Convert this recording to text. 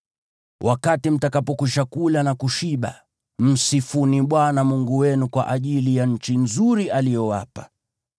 Wakati mtakapokwisha kula na kushiba, msifuni Bwana Mungu wenu kwa ajili ya nchi nzuri aliyowapa.